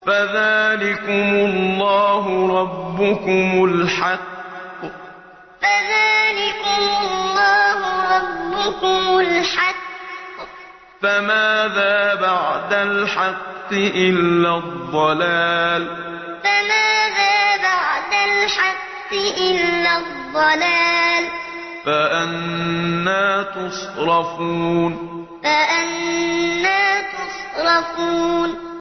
فَذَٰلِكُمُ اللَّهُ رَبُّكُمُ الْحَقُّ ۖ فَمَاذَا بَعْدَ الْحَقِّ إِلَّا الضَّلَالُ ۖ فَأَنَّىٰ تُصْرَفُونَ فَذَٰلِكُمُ اللَّهُ رَبُّكُمُ الْحَقُّ ۖ فَمَاذَا بَعْدَ الْحَقِّ إِلَّا الضَّلَالُ ۖ فَأَنَّىٰ تُصْرَفُونَ